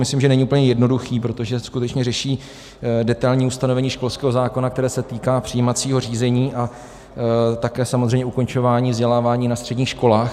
Myslím, že není úplně jednoduchý, protože skutečně řeší detailní ustanovení školského zákona, které se týká přijímacího řízení a také samozřejmě ukončování vzdělávání na středních školách.